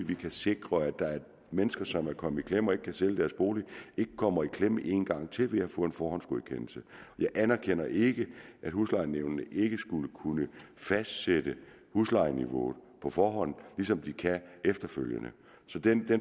vi kan sikre at de mennesker som er kommet i klemme og ikke kan sælge deres bolig ikke kommer i klemme en gang til ved at få en forhåndsgodkendelse jeg anerkender ikke at huslejenævnet ikke skulle kunne fastsætte huslejeniveauet på forhånd ligesom de kan efterfølgende så den